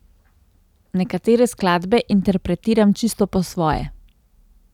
Nekatere skladbe interpretiram čisto po svoje.